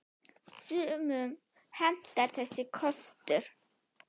Sumum hentar þessi kostur.